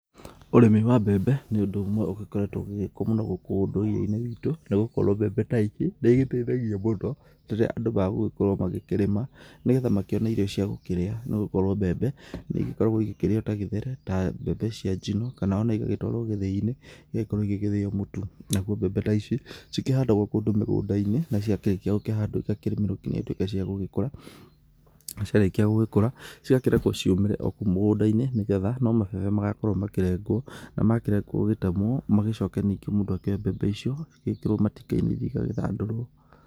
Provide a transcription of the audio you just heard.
Ũrĩmi wa mbembe nĩ ũndũ ũmwe ũgĩkoretwo ũgĩgĩkwo mũno gũkũ ũndũire-inĩ witũ nĩgũkorwo mbembe ta ici nĩ iteithagia mũno rĩrĩa andũ magũgĩkorwo magĩkĩrĩma nĩgetha akĩone irio cia gũkĩrĩa nĩgũkorwo mbembe nĩ igĩkoragwo igĩkĩrĩo ta gĩtheri ,ta mbembe cia njino ,kana ona igagĩtwarwo gĩthĩi-inĩ igagĩkorwo igĩthĩo mũtu, nagũo mbembe ta ici cikĩhandagwo kũndũ mũgũnda-inĩ naciakĩrĩkĩo gũkĩhandwo igakĩrĩmĩrwo nginya cituĩkĩ cia gũgĩkũra na cia rĩkĩa gũgĩkũra cigakĩrekwo ciũmĩre o kũu mugũnda-inĩ nĩgetha no mabebe magakorwo makĩregwo na marĩkĩa gũgĩtemwo magĩcoke ningĩ mũndũ akĩoye mbembe icio igĩgĩkĩrwo matinga ithiĩ igagĩthandũrwo.